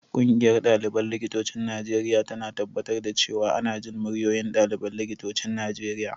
Ƙungiyar ɗaliban likitocin Najeriya tana tabbatar da cewa ana jin muryoyin ɗaliban likitocin Najeriya.